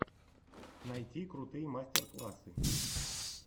найти крутые мастер классы